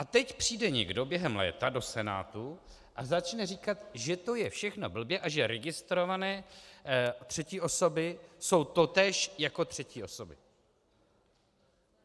A teď přijde někdo během léta do Senátu a začne říkat, že to je všechno blbě a že registrované třetí osoby jsou totéž jako třetí osoby.